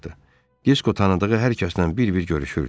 Disko tanıdığı hər kəsdən bir-bir görüşürdü.